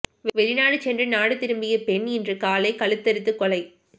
வெளிநாடு சென்று நாடு திரும்பிய பெண் இன்று காலை கழுத்தறுத்து கொலை